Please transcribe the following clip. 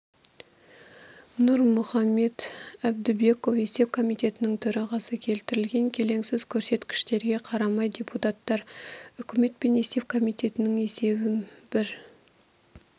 нұрмұхамбет әбдібеков есеп комитетінің төрағасы келтірілген келеңсіз көрсеткіштерге қарамай депутаттар үкімет пен есеп комитетінің есебін бір